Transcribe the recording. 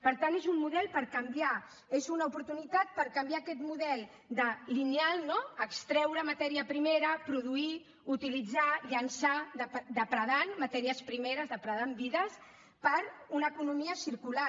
per tant és un model per canviar és una oportunitat per canviar aquest model de lineal no extreure matèria primera produir utilitzar llençar depredant matèries primeres depredant vides per una economia circular